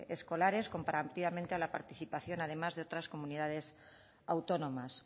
escolares comparativamente a la participación además de otras comunidades autónomas